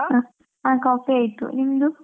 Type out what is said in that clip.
ಹಾ coffee ಆಯ್ತು ನಿಮ್ದು?